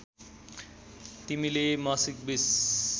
तिमीले मासिक २०